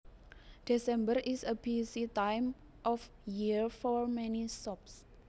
December is a busy time of year for many shops